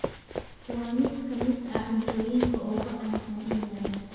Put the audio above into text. Waa mid ka mid ah cuntooyinka ugu caansan England.